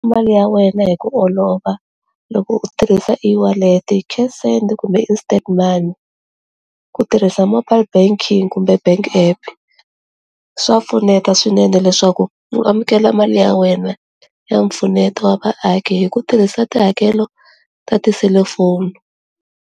Mali ya wena hi ku olova loko u tirhisa eWallet, cash send kumbe instant money, ku tirhisa mobile banking kumbe bank app swa pfuneta swinene leswaku u amukela mali ya wena ya mpfuneto wa vaaki hi ku tirhisa tihakelo ta tiselifoni.